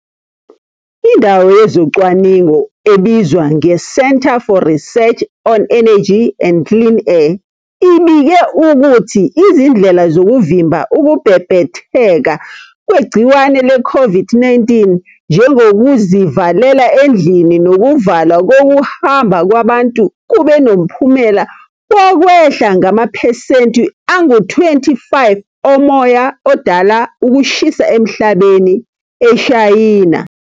Indawo yezocwaningo ebizwa nge-Centre for Research on Energy and Clean Air ibike ukuthi izindlela zokuvimba ukubhebhetheka kwegciwane le-COVID-19 njengokuzivalela endlini nokuvalwa kokuhamba kwabantu kube nomphumela wokwehla ngamaphesenti angu-25 omoya odala ukushisa emhlabeni eShayina